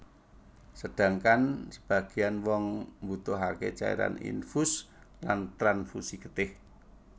Sedangkan sebageyan wong mbutuhake cairan infus lan transfusi getih